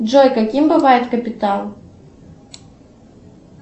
джой каким бывает капитал